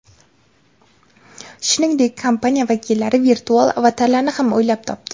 Shuningdek, kompaniya vakillari virtual avatarlarni ham o‘ylab topdi.